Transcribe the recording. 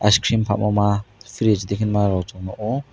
icecream phalmo ma fridge de hinmarok chung nuk o.